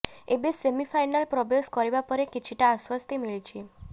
ଏବେ semi final ପ୍ରବେଶ କରିବା ପରେ କିଛିଟା ଆଶ୍ବସ୍ତି ମିଳିଛି